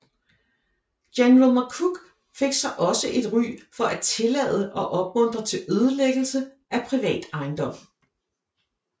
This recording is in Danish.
General McCook fik sig også et ry for at tillade og opmundre til ødelæggelse af privat ejendom